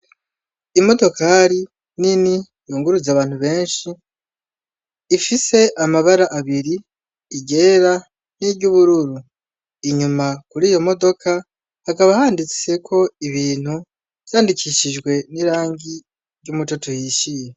Imodokori nini yunguruza abantu benshi ifise amabara abiri iryera niryubururu, inyuma kuriyo modoka hakaba handitseko ibintu vyandikishijwe n’irangi ry’umutoto uhishiye.